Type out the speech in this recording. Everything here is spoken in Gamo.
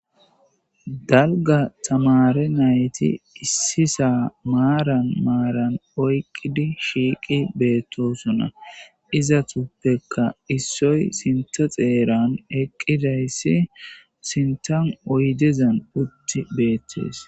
dalga tamare nayti issisa maaran maaran oyqqidi shiiqi beettosuna iza tuppekka issoy sinta xeeran eqqidayssi sintan oydezan utti beettees